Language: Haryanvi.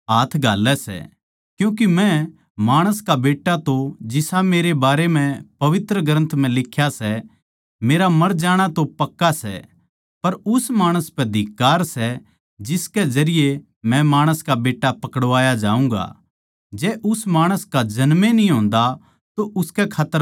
क्यूँके मै माणस का बेट्टा तो जिसा मेरे बारै म्ह पवित्र ग्रन्थ म्ह लिख्या सै मेरा मर जाणा तो पक्का सै पर उस माणस पै धिक्कार सै जिसकै जरिये मै माणस का बेट्टा पकड़वाया जाऊँगा जै उस माणस का जन्म ए न्ही होंदा तो उसकै खात्तर भला होंदा